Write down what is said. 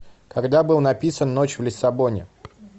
когда был написан ночь в лиссабоне